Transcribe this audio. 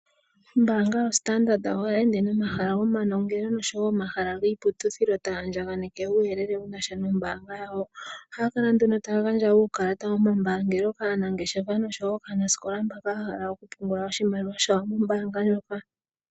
Ombanga yo Standard ohayi ende nomahala gomanongeno oshowo omahala giiputudhilo taya andjakaneke uuyelele wunasha nombanga yawo. Ohaya kala nduno taya gandja uukalata womambangelo kaanangeshefa noshowo kaanaskola mboka ya hala oku pungula oshimaliwa shawo nombanga lyoka.